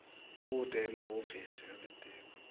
kute emahhovisi elitiko